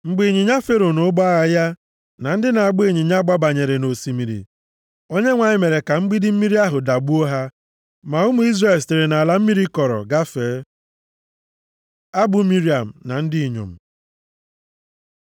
Mgbe ịnyịnya Fero, na ụgbọ agha ya, na ndị na-agba ịnyịnya, gbabanyere nʼosimiri, Onyenwe anyị mere ka mgbidi mmiri ahụ dagbuo ha. Ma ụmụ Izrel sitere nʼala mmiri kọrọ gafee. Abụ Miriam na ndị inyom